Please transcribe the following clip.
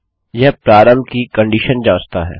यह प्रारंभ कि कंडीशन जाँचता है